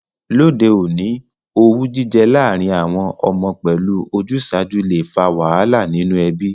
Lóde ọ̀ní, owú jijẹ lárìn àwon ọmọ pẹ́lu ojúsàju le fa wàhálà nínú ebí